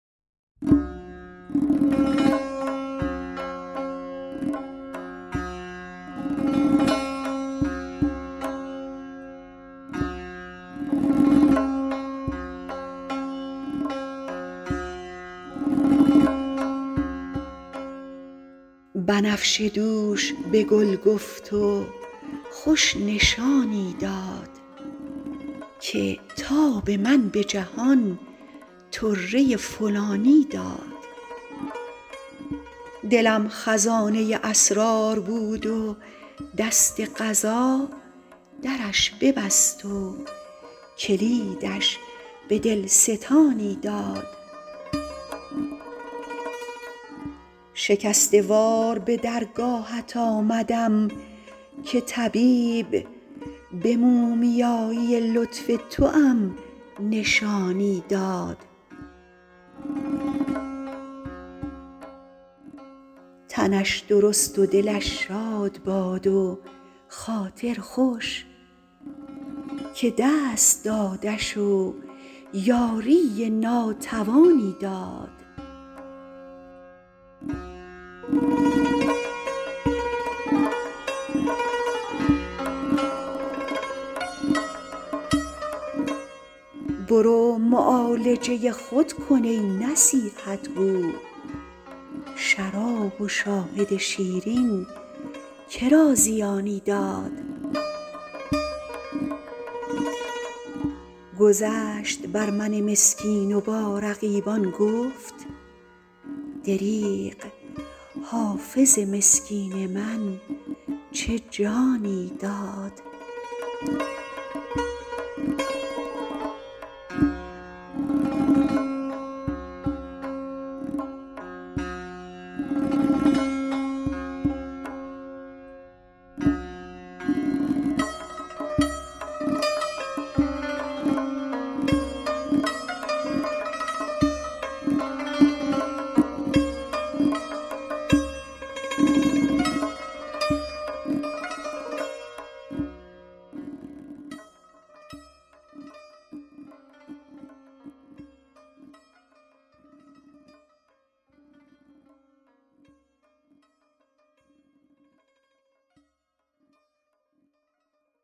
بنفشه دوش به گل گفت و خوش نشانی داد که تاب من به جهان طره فلانی داد دلم خزانه اسرار بود و دست قضا درش ببست و کلیدش به دل ستانی داد شکسته وار به درگاهت آمدم که طبیب به مومیایی لطف توام نشانی داد تنش درست و دلش شاد باد و خاطر خوش که دست دادش و یاری ناتوانی داد برو معالجه خود کن ای نصیحت گو شراب و شاهد شیرین که را زیانی داد گذشت بر من مسکین و با رقیبان گفت دریغ حافظ مسکین من چه جانی داد